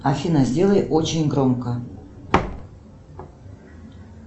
афина сделай очень громко